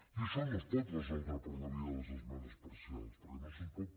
i això no es pot resoldre per la via de les esmenes parcials perquè no se’ns pot